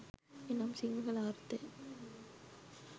එනම් සිංහල අර්ථය